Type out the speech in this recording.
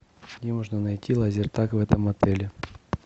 где можно найти лазертаг в этом отеле